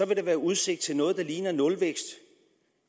der være udsigt til noget der ligner nulvækst